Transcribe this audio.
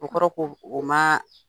O kɔrɔ ko o ma